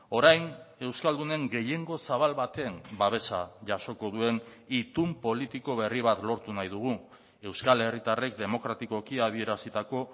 orain euskaldunen gehiengo zabal baten babesa jasoko duen itun politiko berri bat lortu nahi dugu euskal herritarrek demokratikoki adierazitako